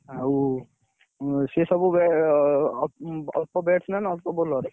ଆଉ, ସିଏ ସବୁ ଏ ମାନେ ଅଳ୍ପ batsman ଅଳ୍ପ bowler ।